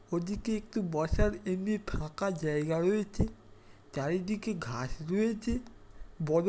ওদিকে একটি বসার এমনি ফাঁকা জায়গা রয়েছে | চারিদিকে ঘাস রয়েছে | বড়-- |